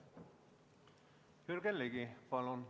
Jürgen Ligi, palun!